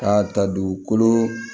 K'a ta dugukolo